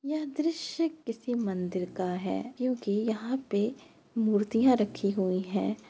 यह दृश्य किसी मंदिर का है क्योंकि यहाँ पे मूर्तियाँ रखी हुई है।